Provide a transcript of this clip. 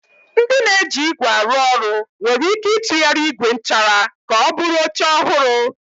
Ndị na-eji ígwè arụ ọrụ nwere ike ịtụgharị ígwè nchara ka ọ bụrụ oche ọhụrụ.